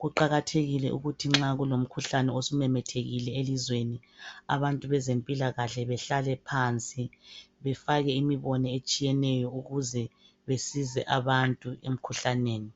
kuqakathekile ukuthi nxa sokulomkhuhlane osumemethekile elizweni abantu bezempilakahle behlale phansi befake imibono etshiyeneyo ukuze besize abantu emkhuhlaneni